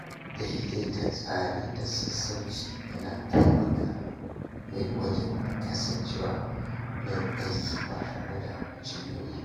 Daidaita tsari da sassauci yana taimaka min wajen kasancewa mai aiki ba tare da jin nauyi ba.